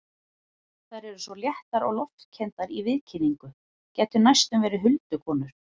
Þær eru svo léttar og loftkenndar í viðkynningu, gætu næstum verið huldukonur.